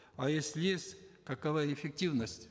а если есть какова эффективность